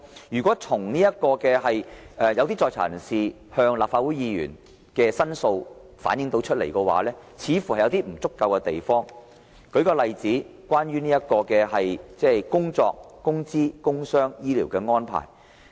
如果從一些在囚人士向立法會議員的申訴看來，似乎有不足之處，舉例來說，關於工作、工資、工傷和醫療的安排。